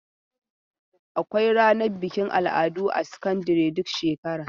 Akwai ranar bikin al'adu a sakandare duk shekara.